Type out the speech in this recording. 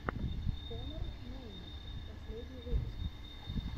конор мейнард последний выпуск